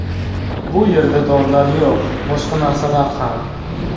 Bu yerda dorilar yo‘q, boshqa narsalar ham.